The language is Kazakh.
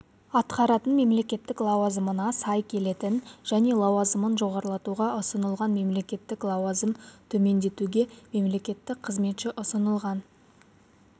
атқаратын мемлекеттік лауазымына сай келетін және лауазымын жоғарлатуға ұсынылған мемлекеттік лауазымын төмендетуге мемлекеттік қызметші ұсынылған